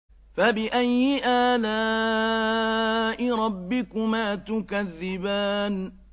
فَبِأَيِّ آلَاءِ رَبِّكُمَا تُكَذِّبَانِ